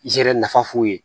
I yɛrɛ nafa f'u ye